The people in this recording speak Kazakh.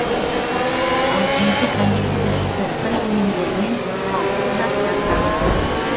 ал жеті кондитерлік цехтің өнімдерінен қауіпті заттар табылды